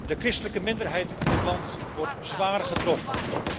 De christelijke minderheid in het land wordt zwaar getroffen.